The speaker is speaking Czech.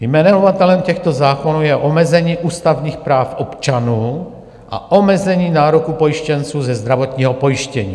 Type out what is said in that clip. Jmenovatelem těchto zákonů je omezení ústavních práv občanů a omezení nároků pojištěnců ze zdravotního pojištění.